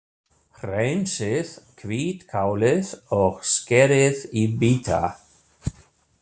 Hreinsið hvítkálið og skerið í bita.